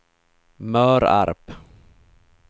Mörarp